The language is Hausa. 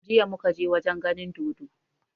Jiya muka je wajen ganin dodo